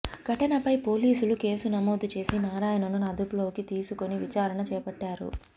ఘటనపై పోలీసులు కేసు నమోదు చేసి నారాయణను అదుపులోకి తీసుకొని విచారణ చేపట్టారు